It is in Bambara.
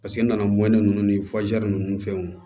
Paseke n nana mɔ ne ni nunnu fɛnw